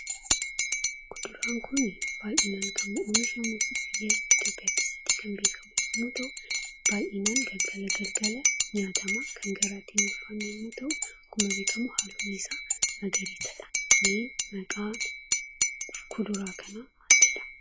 Kuduraan kun baayyinaan kan oomishamu Itoophiyaa keessattii dha. Baayyinaan galgala galgala kan nyaatamuu fi kan garaatti hin ulfaannee dha akkasumas halluun isaa magariisaa dha. Maqaan kuduraa kana maal jedhama?